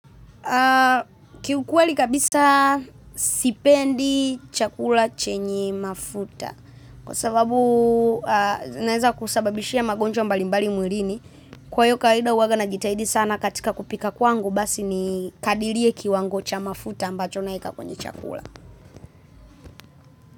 Kiukweli kabisa sipendi chakula chenye mafuta kwa sababu inaeza kusababishia magonjwa mbali mbali mwilini kwa hiyo kawaida uwaga najitahidi sana katika kupika kwangu basi ni kadirie kiwango cha mafuta ambacho naweka kwenye chakula.